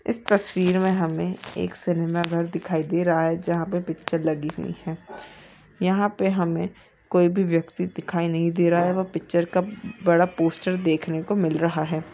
इस तस्वीर मे हमे एक सिनेमा घर दिखाई दे रहा है जहां पे पिक्चर लगी हुई है यहाँ पे हमे कोई भी व्यक्ति दिखाई नहीं दे रहा है व पिक्चर का बड़ा पोस्टर देखने को मिल रहा है।